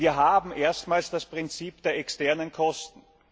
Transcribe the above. Wir haben erstmals das Prinzip der externen Kosten.